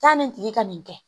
Taa nin tigi ka nin kɛ